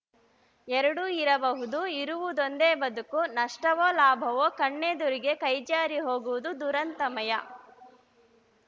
ಎರಡೂ ಇರಬಹುದು ಇರುವುದೊಂದೇ ಬದುಕು ನಷ್ಟವೋ ಲಾಭವೋ ಕಣ್ಣೆದುರಿಗೆ ಕೈಜಾರಿ ಹೋಗುವುದು ದುರಂತಮಯ